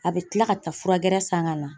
A bɛ kila ka taa fura gɛrɛ san ka na